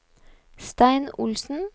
Stein Olsen